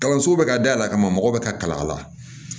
Kalanso bɛ ka dayɛlɛ ka mago bɛ ka kala a la